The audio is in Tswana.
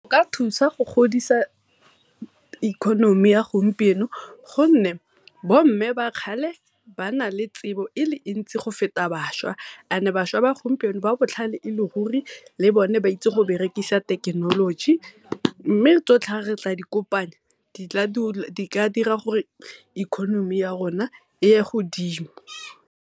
Ka thusa go godisa economy ya gompieno gonne bomme ba kgale ba na le tsebo e le ntsi go feta bašwa, bašwa ba gompieno ba botlhale e le ruri le bone ba itse go berekisa thekenoloji. Mme tsotlhe ga re ka dikopanya di tla dira gore economy ya rona e ye godimo.